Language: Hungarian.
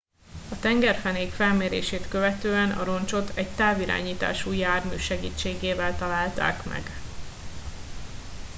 a tengerfenék felmérését követően a roncsot egy távirányítású jármű segítségével találták meg